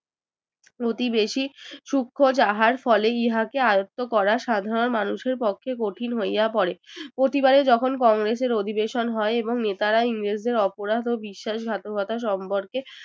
প্রতিবেশী সুক্ষ যাহার ফলে ইহাকে আয়ত্ত করা সাধারণ মানুষের পক্ষে কঠিন হইয়া পড়ে প্রতিবারে যখন কংগ্রেসের অধিবেশন হয় এবং নেতারা ইংরেজদের অপরাধ ও বিশ্বাসঘাতকতা সম্পর্কে